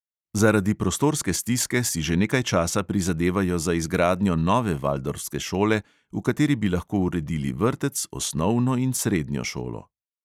Zaradi prostorske stiske si že nekaj časa prizadevajo za izgradnjo nove valdorfske šole, v kateri bi lahko uredili vrtec, osnovno in srednjo šolo.